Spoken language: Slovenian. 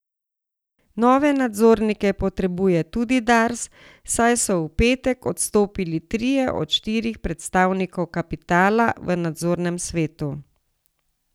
Nove nadzornike potrebuje tudi Dars, saj so v petek odstopili trije od štirih predstavnikov kapitala v nadzornem svetu.